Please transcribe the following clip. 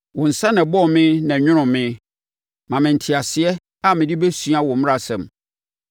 Wo nsa na ɛbɔɔ me na ɛnwonoo me; ma me nteaseɛ a mede bɛsua wo mmaransɛm.